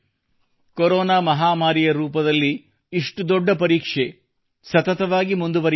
corona ಮಹಾಮಾರಿಯ ರೂಪದಲ್ಲಿ ಇಷ್ಟು ದೊಡ್ಡ ಪರೀಕ್ಷೆ ಸತತವಾಗಿ ಮುಂದುವರಿಯುತ್ತಿದೆ